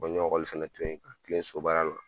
n ɲe ekɔli fɛnɛ to yen ka kile sobaya la